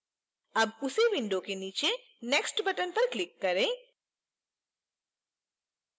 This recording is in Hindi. अब उसी window के नीचे next button पर click करें